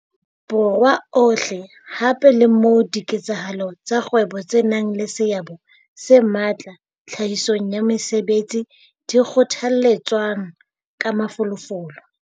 Borwa ohle hape le moo diketsahalo tsa kgwebo tse nang le seabo se matla tlhahisong ya mesebetsi di kgothaletswang ka mafolofolo.